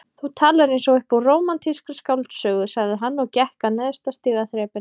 Þú talar eins og upp úr rómantískri skáldsögu sagði hann og gekk að neðsta stigaþrepinu.